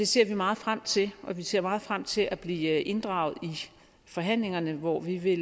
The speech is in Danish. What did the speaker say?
ser meget frem til og vi ser meget frem til at blive inddraget i forhandlingerne hvor vi vil